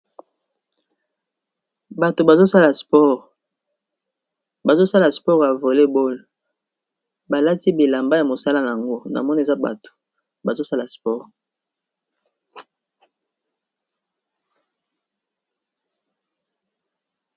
Bato bazosala sports ya voler boll balati bilamba ya mosala yango namona eza bato bazo sala sports.